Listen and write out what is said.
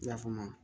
I ya faamu wa